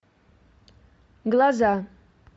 глаза